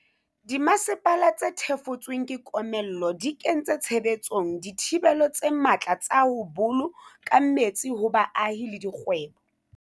Dimasepala tse thefotsweng ke komello di kentse tshebetsong dithibelo tse matla tsa ho bolo ka metsi ho baahi le dikgwebo.